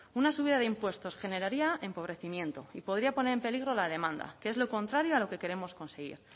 una subida de impuestos generaría empobrecimiento y podría poner en peligro la demanda que es lo contrario a lo que queremos conseguir